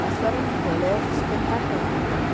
Mas foi um colégio espetacular.